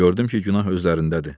Gördüm ki, günah özlərindədir.